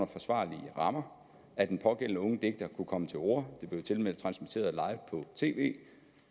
forsvarlige rammer at den pågældende unge digter kunne komme til orde det blev tilmed transmitteret på tv